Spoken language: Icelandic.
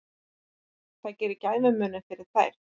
Það gerði gæfumuninn fyrir þær